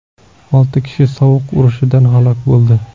Olti kishi sovuq urishidan halok bo‘ldi.